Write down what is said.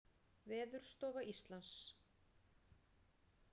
Veðurstofa Íslands.